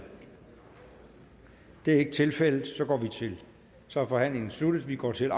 det er ikke tilfældet så er forhandlingen sluttet og vi går til